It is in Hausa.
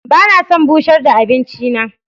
Ba na son bushar da abinci na.